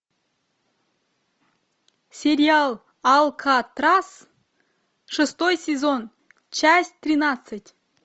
сериал алькатрас шестой сезон часть тринадцать